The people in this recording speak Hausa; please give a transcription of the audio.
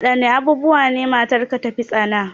Wadanne abubuwa ne matarka ta fi tsana?